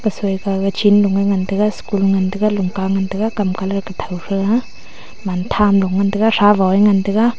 soi gaga chen ga ngan tega school e ngan tega lunka e ngan tega kam colour kutho thega man tham lo ngan tega thavo e ngan tega.